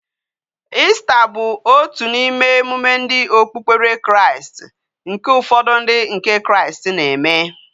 Easter bu otu na ime emume ndi okpukpere Kraist, nke ufodu ndi nke kraist na eme